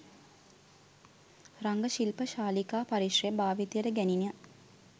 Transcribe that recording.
රංග ශිල්ප ශාලිකා පරිශ්‍රය භාවිතයට ගැණින